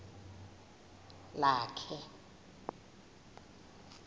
lakhe